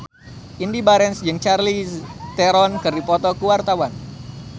Indy Barens jeung Charlize Theron keur dipoto ku wartawan